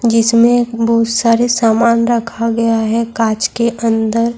جس میں بہت سارے سامان رکھا گیا ہے کاچ کے اندر